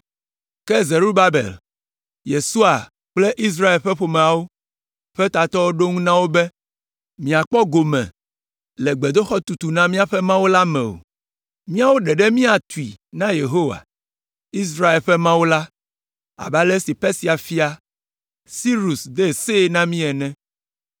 Ke Zerubabel, Yesua kple Israel ƒe ƒomeawo ƒe tatɔwo ɖo ŋu na wo be, “Miakpɔ gome le gbedoxɔ tutu na míaƒe Mawu la me o. Míawo ɖeɖe míatui na Yehowa, Israel ƒe Mawu la abe ale si Persia fia, Sirus de see na mí ene.”